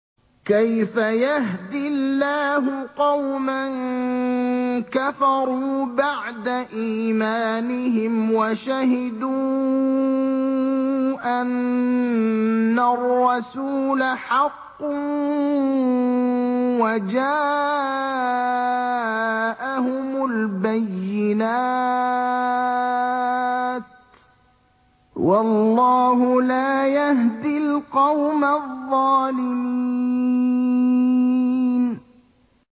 كَيْفَ يَهْدِي اللَّهُ قَوْمًا كَفَرُوا بَعْدَ إِيمَانِهِمْ وَشَهِدُوا أَنَّ الرَّسُولَ حَقٌّ وَجَاءَهُمُ الْبَيِّنَاتُ ۚ وَاللَّهُ لَا يَهْدِي الْقَوْمَ الظَّالِمِينَ